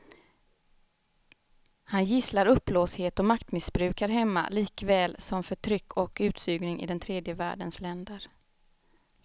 Han gisslar uppblåsthet och maktmissbruk här hemma likaväl som förtryck och utsugning i den tredje världens länder.